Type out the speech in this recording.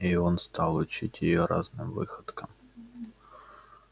и он стал учить её разным выходкам